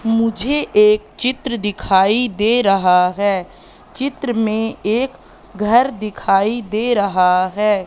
मुझे एक चित्र दिखाई दे रहा है चित्र में एक घर दिखाई दे रहा है।